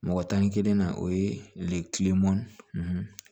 Mɔgɔ tan ni kelen na o ye kileman